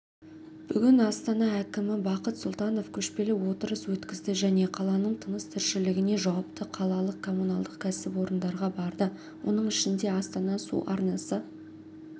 бүгін астана әкімі бақыт сұлтанов көшпелі отырыс өткізді және қаланың тыныс-тіршілігіне жауапты қалалық коммуналдық кәсіпорындарға барды оның ішінде астана су арнасы